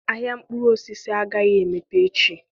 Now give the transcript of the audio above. Ahịa mkpụrụ osisi agaghị emepe echi.